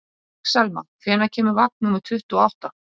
Axelma, hvenær kemur vagn númer tuttugu og átta?